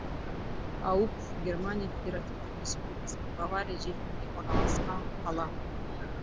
ауб германия федеративтік республикасының бавария жерінде орналасқан қала